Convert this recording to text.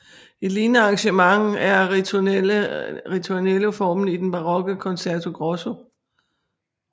Et lignende arrangement er ritornelloformen i den barokke concerto grosso